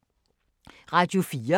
Radio 4